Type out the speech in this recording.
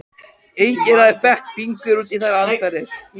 Enginn hafði fett fingur út í þær aðferðir.